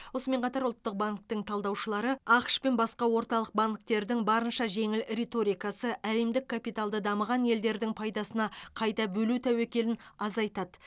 осымен қатар ұлттық банктің талдаушылары ақш пен басқа орталық банктердің барынша жеңіл риторикасы әлемдік капиталды дамыған елдердің пайдасына қайта бөлу тәуекелін азайтады